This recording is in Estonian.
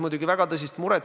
10,3 miljoni euro eest!